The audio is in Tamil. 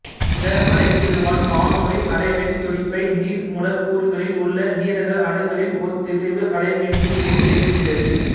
இந்த அலகிடுவான் வானொலி அலைவெண் துடிப்பை நீர் மூலக்கூறுகளில் உள்ள நீரக அணுக்களின் ஒத்திசைவு அலைவெண்ணில் வெளியேற்றுகிறது